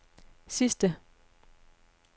sidste